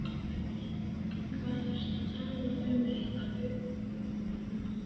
Hvað ertu að tala um litla unga?